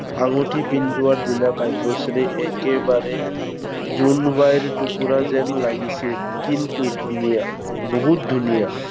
আঙুঠি পিন্ধোৱাৰ দিনা কাব্যশ্ৰী একেবাৰে, জোনাবাইৰ টুকুৰা যেন লাগিছিল। কিন্তু ধুনীয়া, বহুত ধুনীয়া।